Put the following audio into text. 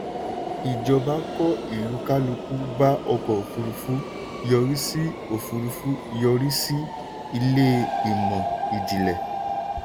ìjọba kó ìlúkálùkù bá ọkọ̀ òfurufú yọrí sí òfurufú yọrí sí ilé ìmọ̀ ìjìnlẹ̀.